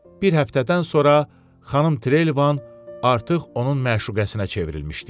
Bir həftədən sonra xanım Treylvan artıq onun məşuqəsinə çevrilmişdi.